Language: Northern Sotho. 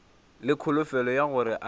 le kholofelo ya gore a